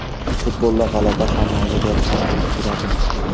Futbolda g‘alaba ham, mag‘lubiyat ham bo‘lib turadi.